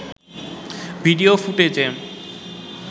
video ফুটেজে